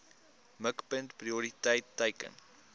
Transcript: mikpunt prioriteit teiken